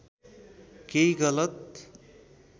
केही गलत